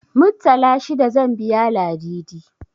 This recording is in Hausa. Muttala shida zan biya Ladidi.